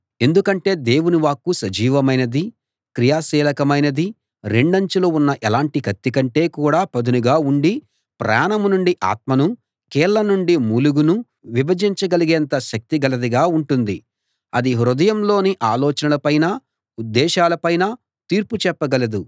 ఎందుకంటే దేవుని వాక్కు సజీవమైనది క్రియాశీలకమైనది రెండంచులు ఉన్న ఎలాంటి కత్తి కంటే కూడా పదునుగా ఉండి ప్రాణం నుండి ఆత్మనూ కీళ్ళ నుండి మూలుగనూ విభజించగలిగేంత శక్తి గలదిగా ఉంటుంది అది హృదయంలోని ఆలోచనలపైనా ఉద్దేశాలపైనా తీర్పు చెప్పగలదు